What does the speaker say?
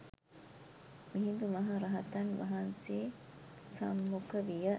මිහිඳු මහරහතන් වහන්සේ සම්මුඛ විය.